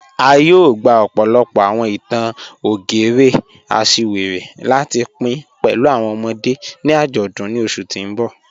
A yóò gbà ọ̀pọ̀lọ̀pọ̀ awọn ìtàn ògérè àṣìwéré láti pìn pẹ̀lú awọn ọ̀mọ̀dé̀ ni ajọdun ni oṣù tì n bọ́.